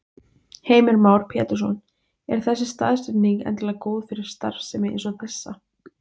Heimir Már Pétursson: Er þessi staðsetning endilega góð fyrir starfsemi eins og þessa?